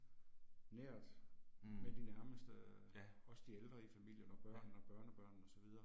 Nært med de nærmeste også de ældre i familien og børnene og børnebørnene og så videre